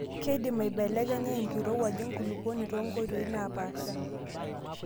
Keidim aibelekenya enkirowuaj enkulukuoni toonkoitoi naapasha.